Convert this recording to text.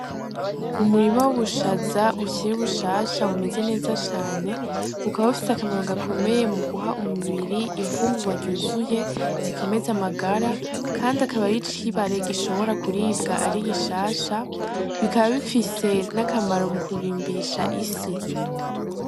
Umurimo w'ubushaza bushira ubushasha bumeze neza cane bukaba bufise akamaro gakomeye mu guha umubiri impfungurwaryuzuye zikomeze amagara, kandi akabari yo icibare gishobora kuribwa ari igishasha bikaba bifise n'akamaro mu kurimbisha isi.